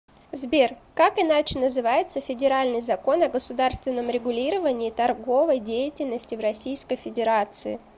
сбер как иначе называется федеральный закон о государственном регулировании торговой деятельности в российской федерации